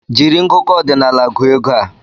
Jiri ngụkọ ọdinaala gụọ ego a!